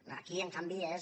aquí en canvi és